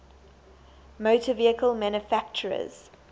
motor vehicle manufacturers